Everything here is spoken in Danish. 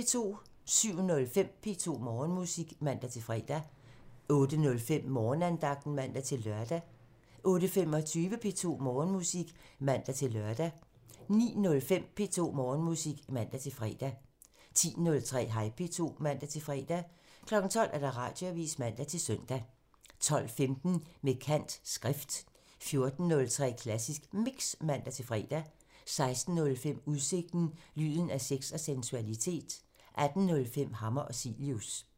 07:05: P2 Morgenmusik (man-fre) 08:05: Morgenandagten (man-lør) 08:25: P2 Morgenmusik (man-lør) 09:05: P2 Morgenmusik (man-fre) 10:03: Hej P2 (man-fre) 12:00: Radioavisen (man-søn) 12:15: Med kant – Skrift 14:03: Klassisk Mix (man-fre) 16:05: Udsigten – Lyden af sex og sensualitet 18:05: Hammer og Cilius